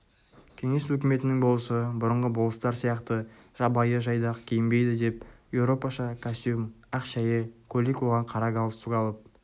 кеңес өкіметінің болысы бұрынғы болыстар сияқты жабайы-жайдақ киінбейді деп еуропаша костюм ақ шәйі көйлек оған қара галстук алып